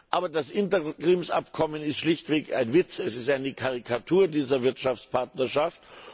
Aber das Interimsabkommen ist schlichtweg ein Witz, es ist eine Karikatur dieser Wirtschaftspartnerschaft.